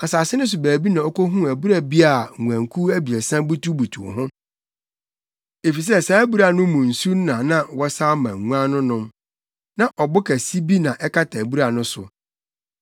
Asase no so baabi na okohuu abura bi a nguankuw abiɛsa butubutuw ho. Efisɛ saa abura no mu nsu na na wɔsaw ma nguan no nom. Na ɔbo kɛse bi na ɛkata abura no so.